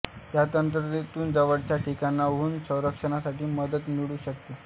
या यंत्रणेतून जवळच्या ठिकाणाहून संरक्षणासाठी मदत मिळू शकते